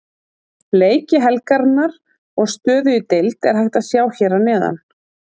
Leiki helgarinnar og stöðu í deild er hægt að sjá hér að neðan.